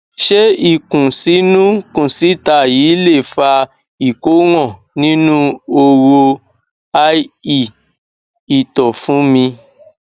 ṣé ikunsinu kunsita yìí lè fa ìkóràn inú horo ie ìtọ fún mi